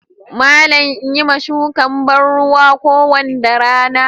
Malam in Yi ma shukan banruwa kowanda rana.